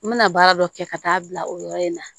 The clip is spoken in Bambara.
N bɛna baara dɔ kɛ ka taa bila o yɔrɔ in na